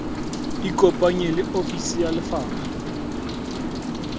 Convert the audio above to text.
ikopanye le ofisi ya lefapha